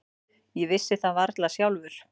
Ég vissi það varla sjálfur.